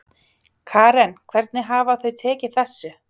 Karen hvernig hafa þau tekið þessu?